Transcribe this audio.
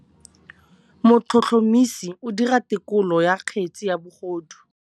Motlhotlhomisi o dira têkolô ya kgetse ya bogodu.